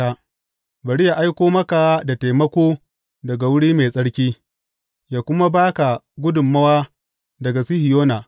Bari yă aiko maka da taimako daga wuri mai tsarki yă kuma ba ka gudummawa daga Sihiyona.